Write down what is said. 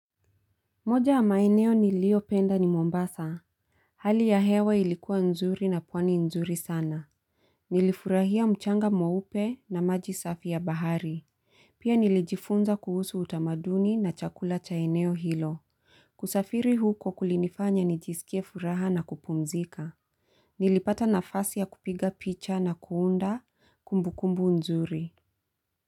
Moja ya maeneo nilio penda ni Mombasa. Hali ya hewa ilikuwa nzuri na pwani nzuri sana. Nilifurahia mchanga mweupe na maji safi ya bahari. Pia nilijifunza kuhusu utamaduni na chakula cha eneo hilo. Kusafiri huko kulinifanya nijisikie furaha na kupumzika. Nilipata nafasi ya kupiga picha na kuunda kumbukumbu nzuri.